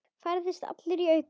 Færðist allur í aukana.